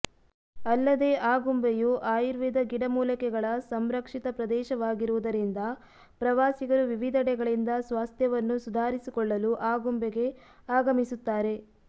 ಅಲ್ಲದೆ ಆಗುಂಬೆಯು ಆಯುರ್ವೇದ ಗಿಡಮೂಲಿಕೆಗಳ ಸಂರಕ್ಷಿತ ಪ್ರದೇಶವಾಗಿರುವುದರಿಂದ ಪ್ರವಾಸಿಗರು ವಿವಿಧೆಡೆಗಳಿಂದ ಸ್ವಾಸ್ಥ್ಯವನ್ನು ಸುಧಾರಿಸಿಕೊಳ್ಳಲು ಆಗುಂಬೆಗೆ ಆಗಮಿಸುತ್ತಾರೆ